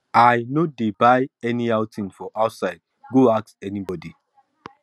i no dey buy anyhow thing for outside go ask anybody